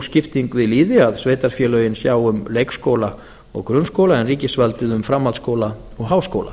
skipting við lýði að sveitarfélögin sjá um leikskóla og grunnskóla en ríkisvaldið um framhaldsskóla og háskóla